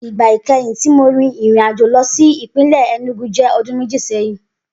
Igba ikẹhin ti Mo rin irin-ajo lọ si ipinlẹ Enugu jẹ ọdun meji sẹhin.